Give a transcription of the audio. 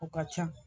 O ka ca